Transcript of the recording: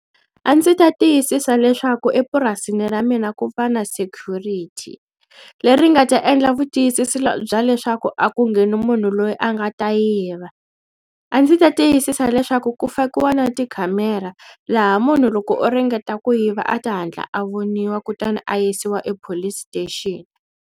A ndzi ta tiyisisa leswaku epurasini ra mina ku va na security leri nga ta endla vutiyisisi bya leswaku a ku ngheni munhu loyi a nga ta yiva a ndzi ta tiyisisa leswaku ku fakiwa na tikhamera laha munhu loko o ringeta ku yiva a ta hatla a voniwa kutani a yisiwa e police station.